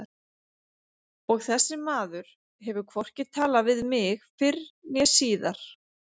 Og þessi maður hefur hvorki talað við mig fyrr né síðar.